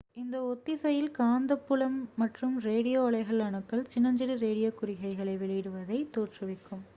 இந்த ஒத்திசையில் காந்தப் புலம் மற்றும் ரேடியோ அலைகள் அணுக்கள் சின்னஞ்சிறு ரேடியோ குறிகைகளை வெளிவிடுவதைத் தோற்றுவிக்கும்